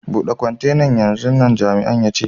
Bude kwantenan yanzun nan, Jami'in ya ce.